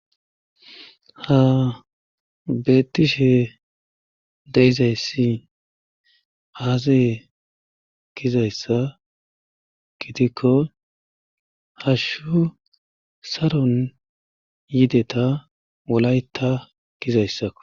ha betishe deyizayssi haase gizayssa gidikko hashshu saron yideta wolayta gizayssakko